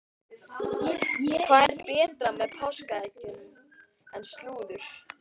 Hvað er betra með páskaeggjunum en slúður?